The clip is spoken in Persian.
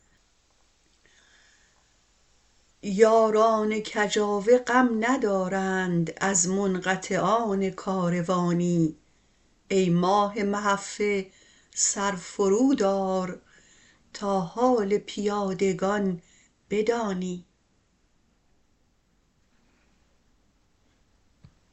یاران کجاوه غم ندارند از منقطعان کاروانی ای ماه محفه سر فرود آر تا حال پیادگان بدانی